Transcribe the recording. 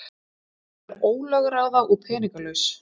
Hún er ólögráða og peningalaus.